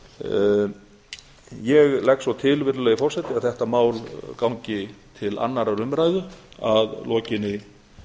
atvinnuveganefndar ég legg svo til virðulegi forseti að þetta mál gangi til annarrar umræðu að lokinni